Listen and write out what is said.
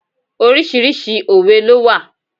Oríṣiríṣi òwe ló wà.